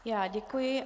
Já děkuji.